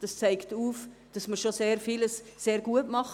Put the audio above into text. Dies zeigt auf, dass wir schon sehr vieles sehr gut machen.